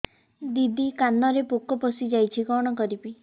ଦିଦି କାନରେ ପୋକ ପଶିଯାଇଛି କଣ କରିଵି